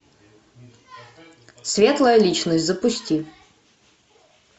светлая личность запусти